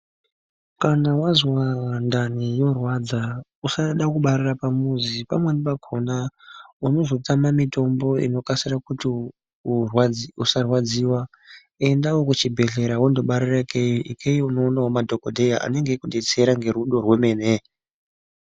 Kana wanzwa ndani yorwadza usada kubarira pamuzi pamweni pakona unozotama mitombo inoita kuti usarwadziwa endawo kuchibhedhlera wondobetserwa ikweyo unoona madhokodheya anenge achikubetsera ngerudo rwemene.